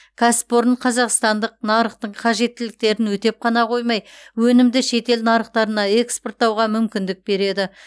кәсіпорын қазақстандық нарықтың қажеттіліктерін өтеп қана қоймай өнімді шетел нарықтарына экспорттауға мүмкіндік береді